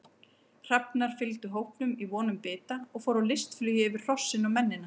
Hrafnar fylgdu hópnum í von um bita og fóru á listflugi yfir hrossin og mennina.